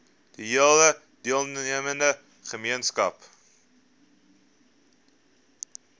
hele deelnemende gemeenskap